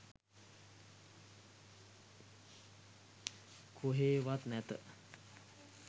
කොහේවත් නැත